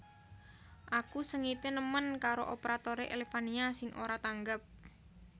Aku sengite nemen karo operatore Elevania sing ora tanggap